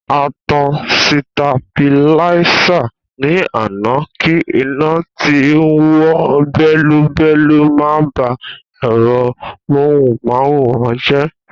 A tan sitabiláísà ní àná kí iná tí ń wò bẹ́lúbẹ́lú má ba ẹ̀rọ móhùn máwòrán jẹ́